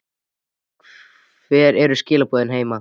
Hver eru skilaboðin heima?